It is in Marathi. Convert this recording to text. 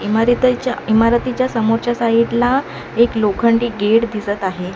इमारीतेच्या इमारतीच्या समोरच्या साइड ला एक लोखंडी गेट दिसत आहे.